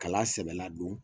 Ka kala sɛbɛ ladon